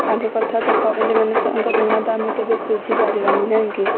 ତାଙ୍କ କଥା ତ କହିଲେ ମାନେ କହିଲେ ସଁ...ତାଙ୍କ ଋଣ ତ ଆମେ କେବେ ସୁଝି ପାରିବାନି ନାଇଁ କି